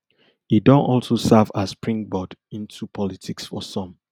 e don also serve as springboard into politics for some